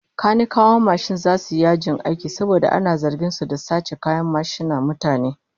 Kanikawan mashin zasu yi yajin aiki saboda ana zargin su da sace kayan mashinan mutane